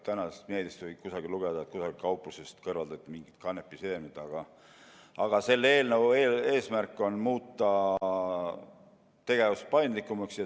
Tänasest meediast võib kusagilt lugeda, et mingist kauplusest kõrvaldati mingid kanepiseemned, aga selle eelnõu eesmärk on muuta tegevus paindlikumaks.